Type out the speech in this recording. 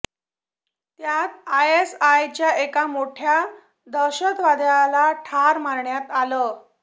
त्यात आयएसआयएसचा एका मोठ्या दहशतवाद्याला ठार मारण्यात आलं